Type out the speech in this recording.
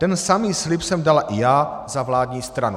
Ten samý slib jsem dala i já za vládní stranu."